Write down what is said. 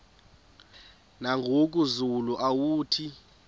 nangoku zulu uauthi